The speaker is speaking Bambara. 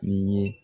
Ni ye